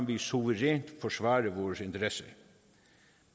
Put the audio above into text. vi suverænt forsvare vores interesser